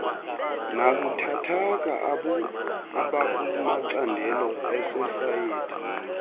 nabuthathaka abakumacandelo esosayethi